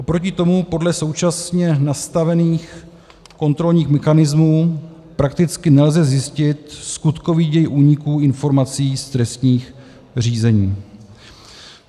Oproti tomu podle současně nastavených kontrolních mechanismů prakticky nelze zjistit skutkový děj úniků informací z trestních řízení.